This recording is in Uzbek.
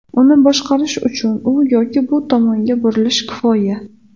Uni boshqarish uchun u yoki bu tomonga burilish kifoya.